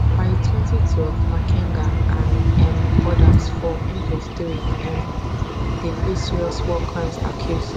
by twenty twenty three makenga and um odas for m twenty three um dey face serious war crimes accuse